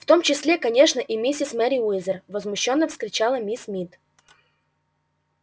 в том числе конечно и миссис мерриуэзер возмущённо вскричала миссис мид